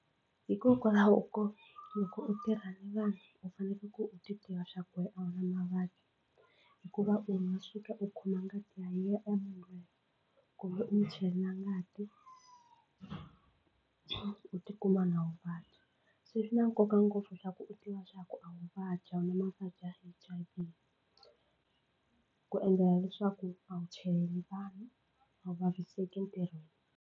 Hikokwalaho ko loko u tirhile vanhu u fanekele ku u titiva swa ku wena a wu na mavabyi hikuva u nga suka u khoma ngati ya yena munhu loyi kumbe u mu chelela ngati u tikuma na wu vabya se swi na nkoka ngopfu swa ku u tiva swa ku a wu vabyi a wu na mavabyi ya H_I_V ku endlela leswaku a wu chaleli vanhu a wu vaviseki ntirhweni.